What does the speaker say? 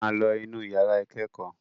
Ẹ máa lọ inú ìyàrá ìkẹ́kọ̀ọ́!